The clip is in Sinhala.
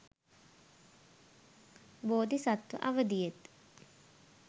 බෝධි සත්ව අවධියෙත්